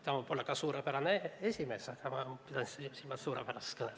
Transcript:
Ta võib olla ka suurepärane esimees, aga ma pidasin silmas suurepärast kõnet.